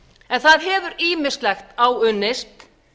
en það hefur ýmislegt áunnist